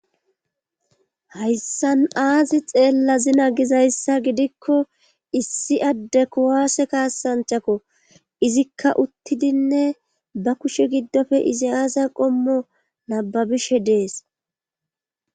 hayssan aazi xeellazina gizayssa gidikko issi adde kuwaase kaasanchako izikka uttidinne ba kushe giddoppe izi aaza qommo nababishe dees